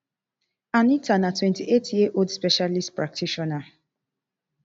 anita na twenty-eight year old specialist practitioner